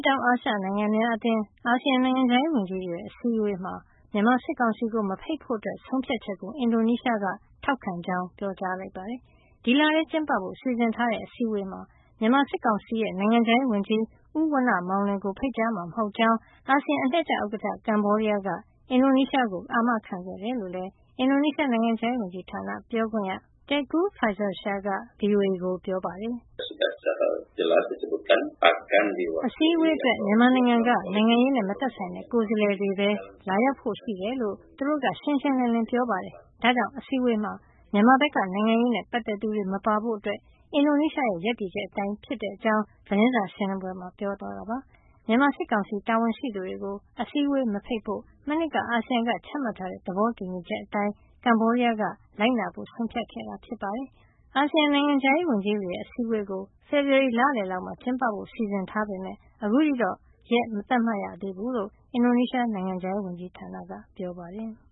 တောင်အာရှနိုင်ငံများအသင်း ASEAN နိုင်ငံခြားရေးဝန်ကြီးတွေရဲ့ အစည်းအဝေးမှာ မြန်မာစစ်ကောင်စီကို မဖိတ်ဖို့ ဆုံးဖြတ်ချက်ကို အင်ဒိုနီးရှားက ထောက်ခံကြောင်း ပြောလိုက်ပါတယ်။ ဒီလထဲကျင်းပဖို့ စီစဉ်ထားတဲ့ အစည်းအဝေးမှာ မြန်မာစစ်ကောင်စီရဲ့ နိုင်ငံခြားရေးဝန်ကြီး ဦးဝဏ္ဏမောင်လွင်ကို ဖိတ်ကြားမှာ မဟုတ်ကြောင်း အာဆီယံ အလှည့်ကျဥက္ကဌ ကမ္ဘောဒီးယားက အင်ဒိုနီးရှားကို အာမခံခဲ့တယ်လို့လည်း အင်ဒိုနီးရှား နိုင်ငံခြားရေးဝန်ကြီးဌာန ပြောခွင့်ရ Teuku Faizasyah က ဗွီအိုအေကို ပြောပါတယ်။ အစည်းဝေးအတွက် မြန်မာနိုင်ငံက နိုင်ငံရေးနဲ့ မသက်ဆိုင်တဲ့ ကိုယ်စားလှယ်တွေပဲ လာရောက်ဖို့ရှိတယ်လို့ သူတို့ကရှင်းရှင်းလင်းလင်း ပြောပါတယ်။ ဒါကြောင့် အစည်းဝေးမှာ မြန်မာဘက်က နိုင်ငံရေးနဲ့ ပတ်သက်သူတွေ မပါဖို့ အင်ဒိုနီးရှားရဲ့ ရပ်တည်ချက်အတိုင်းပဲဖြစ်တဲ့အကြောင်း သတင်းစာရှင်းလင်းပွဲမှာ ပြောသွားတာပါ။ မြန်မာစစ်ကောင်စီ တာဝန်ရှိသူတွေကို အစည်းဝေးမဖိတ်ဖို့ မနှစ်က အာဆီယံကချမှတ်ထားတဲ့ သဘောတူညီချက်အတိုင်း ကမ္ဘောဒီးယားက လိုက်နာဖို့ ဆုံးဖြတ်ခဲ့တာ ဖြစ်ပါတယ်။ အာဆီယံနိုင်ငံခြားရေးဝန်ကြီးတွေရဲ့ အစည်းဝေးကို ဖေဖေါ်ဝါရီလလည်လောက်မှာ ကျင်းပဖို့ စီစဉ်ထားပေမယ့် အခုထိတော့ ရက်မသတ်မှတ်ရသေးဘူးလို့ အင်ဒိုနီးရှားနိုင်ငံခြားရေးဝန်ကြီးဌာနက ပြောပါတယ်။